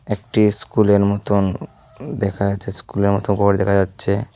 একটি স্কুলের মতন দেখা যাচ্ছে স্কুলের মতো ঘর দেখা যাচ্ছে।